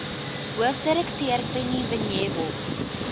hoofdirekteur penny vinjevold